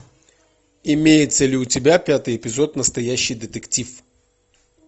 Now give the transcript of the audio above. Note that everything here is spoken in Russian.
имеется ли у тебя пятый эпизод настоящий детектив